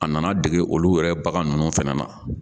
A nana dege olu yɛrɛ bagan ninnu fana na.